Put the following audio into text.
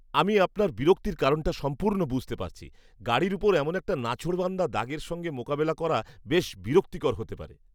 আমি আপনার বিরক্তির কারণটা সম্পূর্ণ বুঝতে পারছি। গাড়ির ওপর এমন একটা নাছোড়বান্দা দাগের সঙ্গে মোকাবিলা করা বেশ বিরক্তিকর হতে পারে।